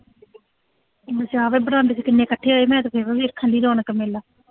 ਬਰਾਂਡੇ ਚ ਕਿੰਨੇ ਇਕੱਠੇ ਹੋਏ ਆ, ਮੈਂ ਤਾਂ ਵੇਖਣ ਡਈ ਰੌਣਕ ਮੇਲਾ